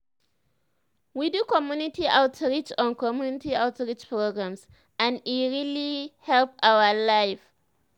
we do community outreach on community outreach programs and e really help our life.